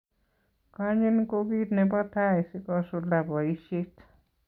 Konyin ko kit nebo tai sikosulda boishet